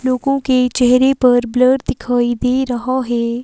लोगों के चेहरे पर ब्लर दिखाई दे रहा है।